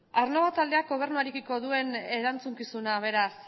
aernnova taldeak gobernuarekiko duen erantzukizuna beraz